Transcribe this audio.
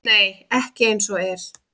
Nei, ekki eins og er.